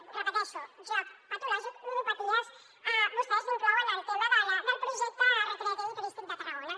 ho repeteixo joc patològic ludopaties vostès inclouen el tema del projecte recreatiu i turístic de tarragona